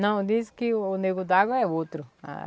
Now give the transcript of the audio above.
Não, dizem que o Nego d'água é outro. Ah